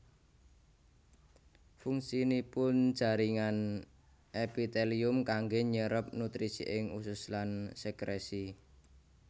Fungsinipun jaringan èpitèlium kanggè nyérép nutrisi ing usus lan sèkrèsi